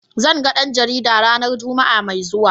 Zan ga dan jarida ranar Juma'a mai zuwa.